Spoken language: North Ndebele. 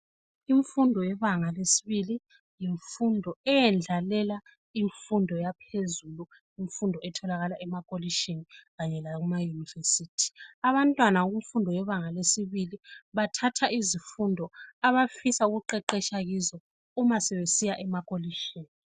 Imfundo yebanga lesibili, yimfundo eyendlalela imfundo yaphezulu, imfundo etholakala emakholithini kanye lakumauniversity. Abantwana kumfundo yebanga lesibili bathatha izifundo abafisa ukuqeqetsha kizo umasebesiya emakholitshini.